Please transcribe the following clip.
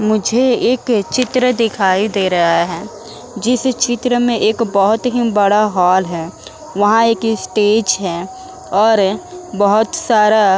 मुझे एक चित्र दिखाई दे रहा है जिस चित्र में एक बहोत ही बड़ा हाल है। वहां एक स्टेज है और बहोत सारा --